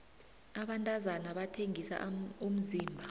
abantazana bathengisa umzimba